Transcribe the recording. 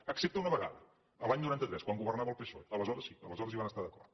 excepte una vegada l’any noranta tres quan go vernava el psoe aleshores sí aleshores hi van estar d’acord